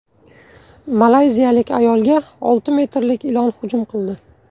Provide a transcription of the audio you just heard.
Malayziyalik ayolga olti metrlik ilon hujum qildi.